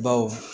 Baw